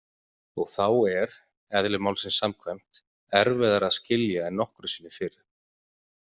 Og þá er- eðli málsins samkvæmt- erfiðara að skilja en nokkru sinni fyrr.